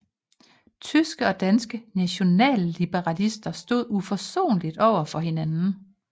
Tyske og danske nationalliberale stod uforsonlige over for hinanden